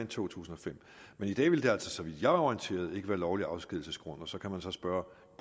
to tusind og fem men i dag ville det altså så vidt jeg er orienteret ikke være lovlig afskedigelsesgrund og så kan man spørge